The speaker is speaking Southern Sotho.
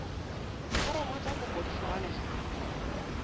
diforomo tsa kopo di fumaneha